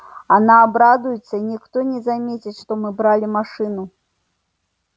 она обрадуется и никто не заметит что мы брали машину